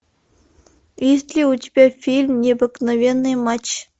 есть ли у тебя фильм необыкновенный матч